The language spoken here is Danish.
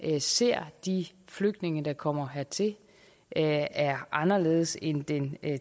ser de flygtninge der kommer hertil er er anderledes end den